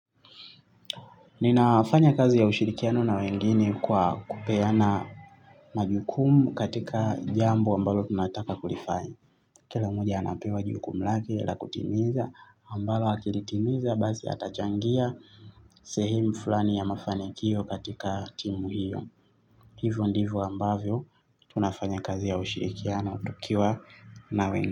Ninafanya kazi ya ushirikiano na wengine kwa kupeana majukumu katika jambo ambalo tunataka kulifanya. Kila mmoja anapewa jukumu lake la kutimiza ambalo akilitimiza basi atachangia sehemu fulani ya mafanikio katika timu hiyo. Hivyo ndivyo ambavyo tunafanya kazi ya ushirikiano tukiwa na wengine.